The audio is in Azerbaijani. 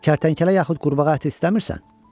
Kərtənkələ yaxud qurbağa əti istəmirsən?